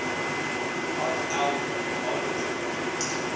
hat eld landdroshof